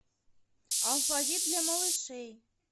алфавит для малышей